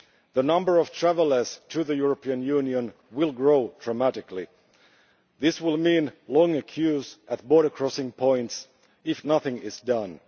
The number of travellers to the European Union will grow dramatically. This will mean long queues at border crossing points, if nothing is done.